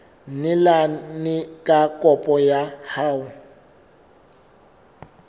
neelane ka kopo ya hao